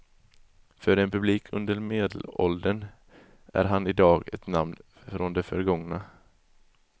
För en publik under medelåldern är han i dag ett namn från det förgångna.